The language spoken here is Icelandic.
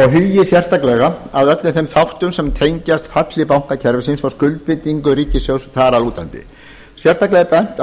og hugi sérstaklega að öllum þeim þáttum sem tengjast falli bankakerfisins og skuldbindingum ríkissjóðs þar að lútandi sérstaklega er bent á